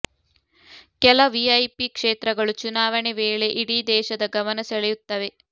ಕೆಲ ವಿಐಪಿ ಕ್ಷೇತ್ರಗಳು ಚುನಾವಣೆ ವೇಳೆ ಇಡೀ ದೇಶದ ಗಮನ ಸೆಳೆಯುತ್ತವೆ